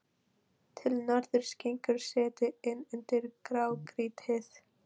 Til norðurs gengur setið inn undir grágrýtið.